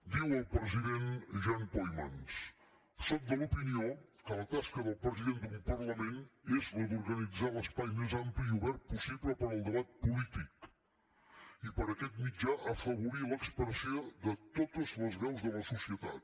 diu el president jan peumans sóc de l’opinió que la tasca del president d’un parlament és la d’organitzar l’espai més ampli i obert possible per al debat polític i per aquest mitjà afavorir l’expressió de totes les veus de la societat